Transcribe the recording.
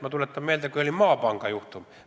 Ma tuletan meelde Eesti Maapanga juhtumit.